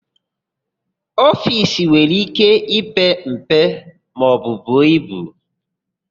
Ofiisi nwere íké ipe mpe maọbụ buo ibu.